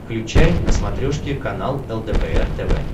включай на смотрешке канал лдпр тв